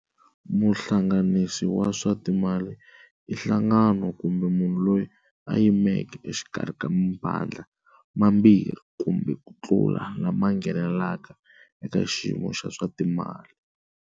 Muhlanganisi wa swa timali i nhlangano kumbe munhu loyi a yimeke exikarhi ka mavandla mambirhi kumbe ku tlula lama nghenelaka eka xiyimo xa swa timali.